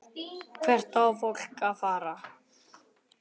Hvert á fólk að fara?